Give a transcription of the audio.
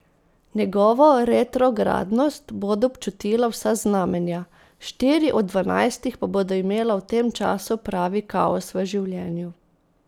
Njegovo retrogradnost bodo občutila vsa znamenja, štiri od dvanajstih pa bodo imela v tem času pravi kaos v življenju.